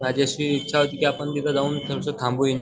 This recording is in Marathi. माझी अशी इच्छा होती की आपण थोडासा थांबू हि